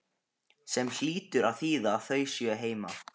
Sem hlýtur að þýða að þau séu heima.